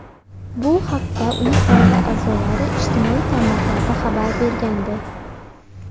Bu haqda uning oila a’zolari ijtimoiy tarmoqlarda xabar bergandi .